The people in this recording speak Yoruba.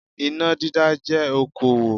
Iná dídá jẹ́ okòwò